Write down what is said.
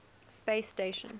space station